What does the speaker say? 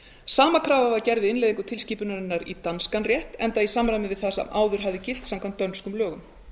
sama krafa var gerð við innleiðingu tilskipunarinnar í danskan rétt enda í samræmi við það sem áður hafði gilt samkvæmt dönskum lögum